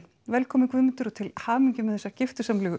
velkominn Guðmundur og til hamingju með þessa